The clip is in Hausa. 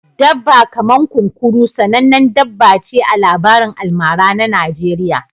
Dabba kaman kunkuru sanannen dabba ce a labarin almara na Najeriya